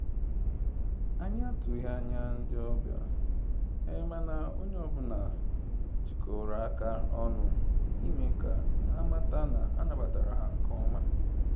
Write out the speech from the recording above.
Anyị atụghị anya ndị ọbịa, mana onye ọ bụla jikọrọ aka ọnụ ime ka ha mata na a nabatara ha nke ọma